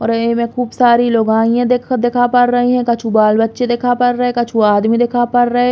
और में खूब सारी लोगाइया देखो देखा पड़ रई कछु बाल बच्चे देखा पड़ रए कछु आदमी देखा पड़ रए।